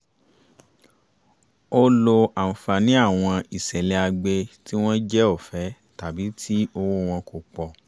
ó lo àǹfààní àwọn ìṣẹ̀lẹ̀ àgbè tí wọ́n jẹ́ ọ̀fẹ́ tàbí tí owó wọn kò pọ̀